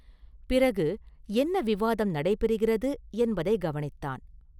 பிறகு என்ன விவாதம் நடைபெறுகிறது என்பதைக் கவனித்தான்.